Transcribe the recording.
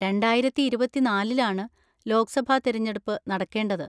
രണ്ടായിരത്തി ഇരുപത്തിനാലിലാണ് ലോക്‌സഭാ തിരഞ്ഞെടുപ്പ് നടക്കേണ്ടത്.